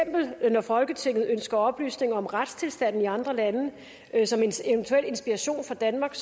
når folketinget ønsker oplysninger om retstilstanden i andre lande som en eventuel inspiration for danmark